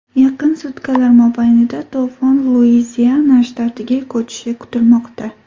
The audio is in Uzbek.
Yaqin sutkalar mobaynida to‘fon Luiziana shtatiga ko‘chishi kutilmoqda.